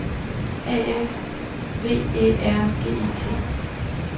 A F V Æ R G E T